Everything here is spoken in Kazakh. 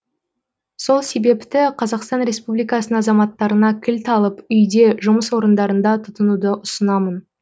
сол себепті қазақстан республикасының азаматтарына кілт алып үйде жұмыс орындарында тұтынуды ұсынамын